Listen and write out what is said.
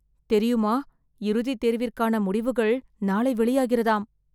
தெரியுமா இறுதி தேர்விற்கான முடிவுகள் நாளை வெளியாகிறதாம்